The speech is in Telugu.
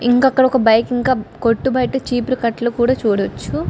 ఇంకా అక్కడ ఒక బైక్ ఇంకా కొట్టు బయట ఛీపిరి కట్టలు కూడా చూడవచ్చు.